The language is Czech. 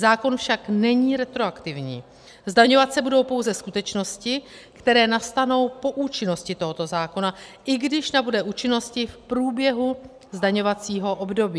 Zákon však není retroaktivní, zdaňovat se budou pouze skutečnosti, které nastanou po účinnosti tohoto zákona, i když nabude účinnosti v průběhu zdaňovacího období.